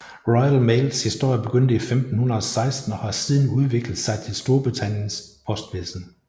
Royal Mails historie begyndte i 1516 og har siden udviklet sig til Storbritanniens postvæsen